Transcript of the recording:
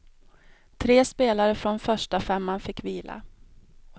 Tre spelare från förstafemman fick vila.